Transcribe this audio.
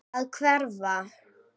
Að hverfa.